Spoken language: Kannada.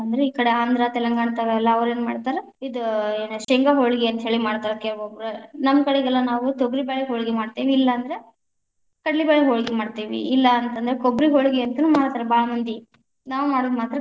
ಈ ಕಡೆ ಆಂಧ್ರ ತೆಲಂಗಾಣತಾವ ಎಲ್ಲಾ ಅವ್ರೇನ್ಮಾಡ್ತಾರ ಇದ್‌ ಏನ್, ಶೇಂಗಾ ಹೋಳಗಿ ಅಂತ ಹೇಳಿ ಮಾಡ್ತಾರ ಕೆಲವೊಬ್ರ, ನಮ್ಮ ಕಡೆಗೆಲ್ಲಾ ನಾವು ತೊಗರಿ ಬೇಳೆ ಹೋಳಗಿ ಮಾಡ್ತೇವಿ, ಇಲ್ಲಾಂದ್ರ ಕಡ್ಲಿಬ್ಯಾಳಿ ಹೋಳಗಿ ಮಾಡ್ತೇವಿ, ಇಲ್ಲಾ ಅಂತಂದ್ರ ಕೊಬ್ಬರಿ ಹೋಳಗಿ ಅಂತಾನು ಮಾಡ್ತಾರ ಭಾಳ ಮಂದಿ, ನಾವ್‌ ಮಾಡುದು ಮಾತ್ರ.